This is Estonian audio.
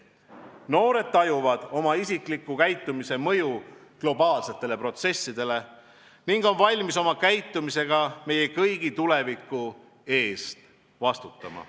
Noored tajuvad oma isikliku käitumise mõju globaalsetele protsessidele ning on valmis oma käitumisega meie kõigi tuleviku eest vastutama.